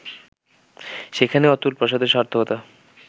সেখানেই অতুল প্রসাদের সার্থকতা